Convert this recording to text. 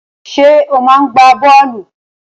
Ṣé ò máa ń gbá bọ́ọ̀lù?